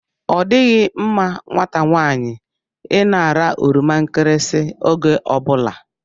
Ọdịghị mma nwata nwaanyị ịna-ara oroma nkirisi oge ọbụla